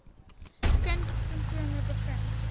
kind simptome begin